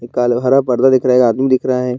हरा पर्दा दिख रहा एक आदमी दिख रहा है।